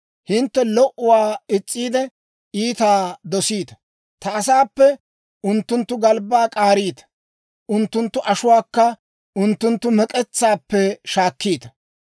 Hintte lo"uwaa is's'iide, iitaa dosiita. Ta asaappe unttunttu galbbaa k'aariita; unttunttu ashuwaakka unttunttu mek'etsaappe shaakkiita.